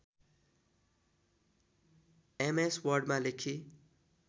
MS वर्डमा लेखी